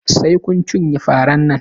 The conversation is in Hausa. Sai kun cinye faran nan!